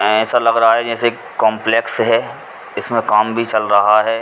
ऐंसा लग रहा है जैसे काम्प्लेक्स हैं। इसमें काम भी चल रहा है।